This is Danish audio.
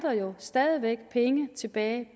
jo stadig væk er penge tilbage i